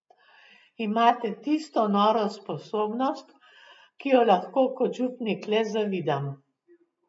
Imate tisto noro sposobnost, ki jo lahko kot župnik le zavidam.